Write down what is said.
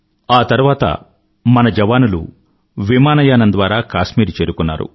ఆ తర్వాత మన సైన్యం జవానులు విమానయానం ద్వారా కాశ్మీరు చేరుకున్నారు